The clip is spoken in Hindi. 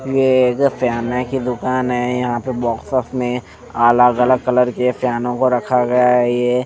ये एक फायने की दुकान है यहाँ पे बॉक्सेस में अलग-अलग कलर के फैनों को रखा गया है ये --